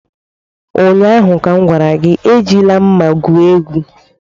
Ụnyaahụ m gwara gị, Ejila mma gwu egwu!